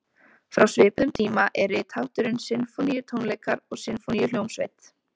Frá svipuðum tíma er rithátturinn sinfóníutónleikar og sinfóníuhljómsveit.